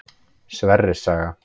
Sverris saga.